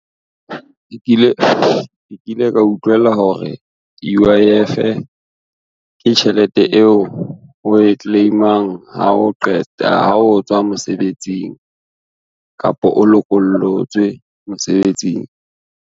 Nke kile ka utlwela hore U_I_F, ke tjhelete eo we claim-ang ha o tswa mosebetsing, kapo o lokollotswe mosebetsing.